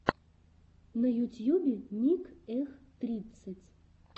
на ютьюбе ник эх тридцать